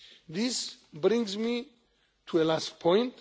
This brings me to the last point.